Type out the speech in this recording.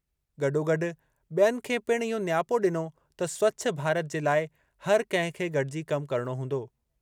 गॾोगॾु बि॒यनि खे पिणु इहो नियापो ॾिनो त स्वछ भारत जे लाइ हर कंहिं खे गॾिजी कम करणो हूंदो।